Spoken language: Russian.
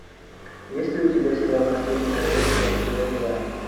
есть ли у тебя сериал последнее королевство эпизод два